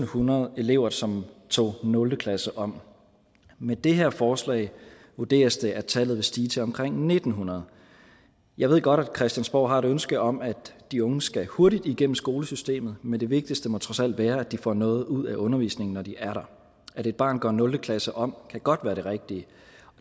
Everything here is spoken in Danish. hundrede elever som tog nul klasse om med det her forslag vurderes det at tallet vil stige til omkring en tusind ni hundrede jeg ved godt at christiansborg har et ønske om at de unge skal hurtigt igennem skolesystemet men det vigtigste må trods alt være at de får noget ud af undervisningen når de er der at et barn går nul klasse om kan godt være det rigtige